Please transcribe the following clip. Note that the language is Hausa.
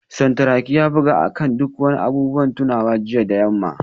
Santuraki ya buga akan duk abubuwan tunawa jiya da yamma